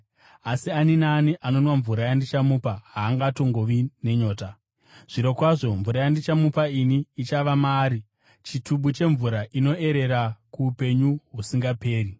asi ani naani anonwa mvura yandichamupa haangatongovi nenyota. Zvirokwazvo, mvura yandichamupa ini ichava maari chitubu chemvura inoerera kuupenyu husingaperi.”